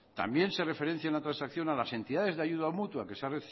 también se referencia una transacción a las entidades de ayuda mutua a que se ha